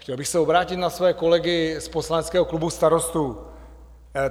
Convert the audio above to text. Chtěl bych se obrátit na své kolegy z poslaneckého klubu Starostů.